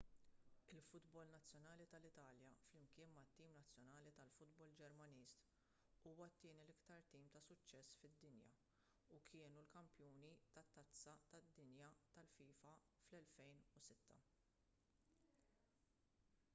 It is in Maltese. il-futbol nazzjonali tal-italja flimkien mat-tim nazzjonali tal-futbol ġermaniż huwa t-tieni l-iktar tim ta' suċċess fid-dinja u kienu l-kampjuni tat-tazza tad-dinja tal-fifa fl-2006